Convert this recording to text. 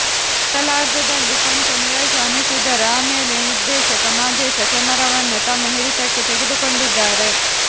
ಮೊದಲಾರ್ಧದಲ್ಲಿ ಕೊಂಚ ನೀರಸ ಅನಿಸಿದರೂ ಆಮೇಲೆ ನಿರ್ದೇಶಕ ಮಾದೇಶ ಕ್ಯಾಮರಾವನ್ನು ತಮ್ಮ ಹಿಡಿತಕ್ಕೆ ತೆಗೆದುಕೊಂಡಿದ್ದಾರೆ